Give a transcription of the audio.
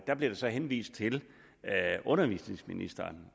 der blev jeg så henvist til undervisningsministeren